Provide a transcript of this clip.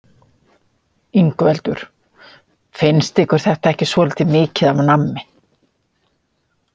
Ingveldur: Finnst ykkur þetta ekki svolítið mikið af nammi?